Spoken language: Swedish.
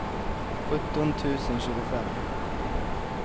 sjutton tusen tjugofem